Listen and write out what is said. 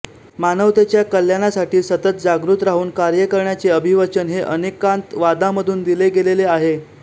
मानवतेच्या कल्याणासाठी सतत जागृत राहून कार्य करण्याचे अभिवचन हे अनेकांतवादामधून दिले गेलेले आहे